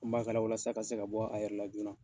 Ko nbasala walasa a ka se ka bɔ, a yɛrɛ la joona